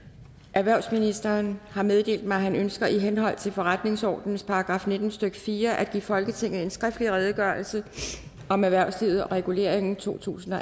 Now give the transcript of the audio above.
erhvervsministeren har meddelt mig at han ønsker i henhold til forretningsordenens § nitten stykke fire at give folketinget en skriftlig redegørelse om erhvervslivet og reguleringen totusinde